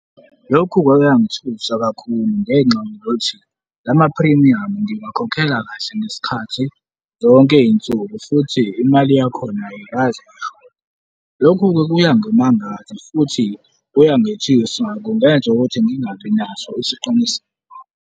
Lokhu kwake kwangithusa kakhulu ngenxa yokuthi la maphrimiyamu ngiwakhokhela kahle ngesikhathi, zonke izinsuku futhi imali yakhona ayikaze yashoda. Lokhu-ke kuyangimangaza futhi kuyangithusa, kungenza ukuthi ngingabi naso isiqiniseko.